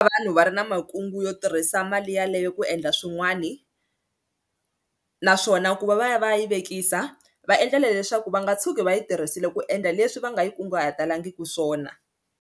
Vanhu va ri na makungu yo tirhisa mali yaleyo ku endla swin'wani naswona ku va va ya va ya yi vekisa va endlela leswaku va nga tshuki va yi tirhisile ku endla leswi va nga yi kunguhataliki swona.